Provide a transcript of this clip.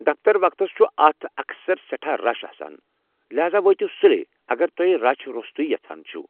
دفتر وقتس چھُ اتھ اکثر سٮ۪ٹھاہ رش آسان ،لحاذا وٲتِو٘ سُلے اگر تُہۍ رشہٕ روٚستُے یژھان چھِوٕ ۔